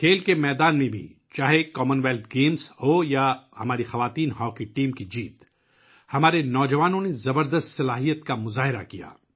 کھیلوں کے میدان میں بھی، کامن ویلتھ گیمز ہوں یا ہماری خواتین کی ہاکی ٹیم کی جیت، ہمارے نوجوانوں نے زبردست صلاحیت کا مظاہرہ کیا